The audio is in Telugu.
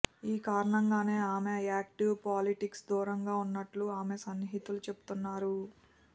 ఈ కారణంగానే ఆమె యాక్టివ్ పాలిటిక్స్ దూరంగా ఉన్నట్టుగా ఆమె సన్నిహితులు చెబుతున్నారు